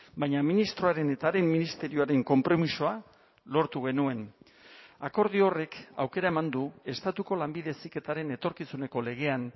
baina ministroaren eta haren ministerioaren konpromisoa lortu genuen akordio horrek aukera eman du estatuko lanbide heziketaren etorkizuneko legean